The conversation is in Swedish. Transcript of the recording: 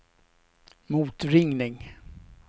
motringning